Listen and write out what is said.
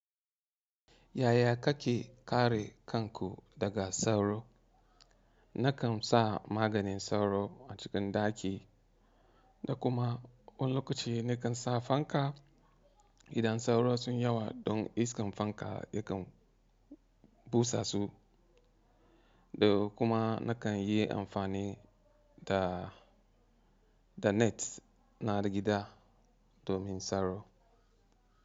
Yaya kake kare kanku daga sauro? Nakan sa maganin sauro a cikin daki da kuma wani lokaci ni kan sa fanka. Idan sauro sun yawa don iskan fanka ya kan busa su. Da kuma na kan yi amfani ta da net na da gida domin sauro.